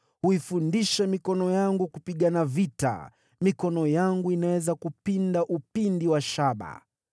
Huifundisha mikono yangu kupigana vita; mikono yangu inaweza kupinda upinde wa shaba.